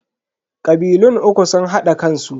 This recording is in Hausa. Kabilun uku sun hada kansu.